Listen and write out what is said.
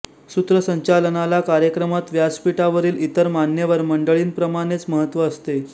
सूत्रसंचालनाला कार्यक्रमात व्यासपीठावरील इतर मान्यवर मंडळींप्रमाणेच महत्त्व असते